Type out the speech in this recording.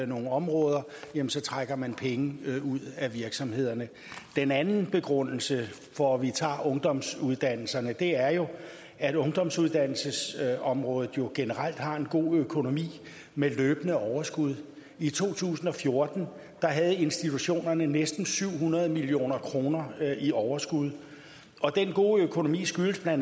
nogle områder jamen så trækker man penge ud af virksomhederne den anden begrundelse for at vi tager ungdomsuddannelserne er jo at ungdomsuddannelsesområdet generelt har en god økonomi med løbende overskud i to tusind og fjorten havde institutionerne næsten syv hundrede million kroner i overskud og den gode økonomi skyldes bla